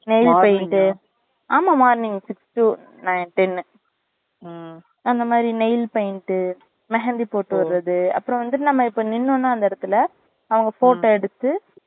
nail paint morning மா ஆமா morning six to nine ten ம் அந்த மாறி nail paint mehandi போட்டு விடுறது அப்புறம் வந்து இப்ப நம்ம நின்னோம்னா அந்த இடத்துல அவங்க photo எடுத்து